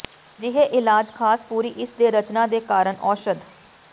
ਅਜਿਹੇ ਇਲਾਜ ਖਾਸ ਪੂਰੀ ਇਸ ਦੇ ਰਚਨਾ ਦੇ ਕਾਰਨ ਔਸ਼ਧ